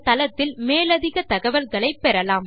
இந்தத் தளத்தில் மேலதிகத் தகவல்களை பெறலாம்